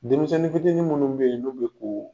Denmisɛnnin fitinin munnu be ye n'u be koo